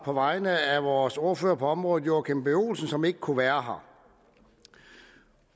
på vegne af vores ordfører på området herre joachim b olsen som ikke kunne være her